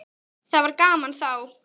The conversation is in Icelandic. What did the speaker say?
Það var gaman þá.